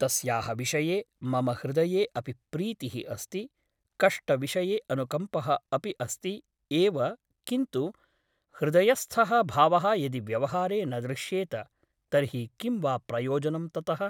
तस्याः विषये मम हृदये अपि प्रीतिः अस्ति , कष्टविषये अनुकम्पः अपि अस्ति एव किन्तु हृदयस्थः भावः यदि व्यवहारे न दृश्येत तर्हि किं वा प्रयोजनं ततः ?